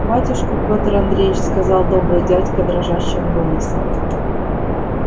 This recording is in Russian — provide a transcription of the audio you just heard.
батюшка петр андреич сказал добрый дядька дрожащим голосом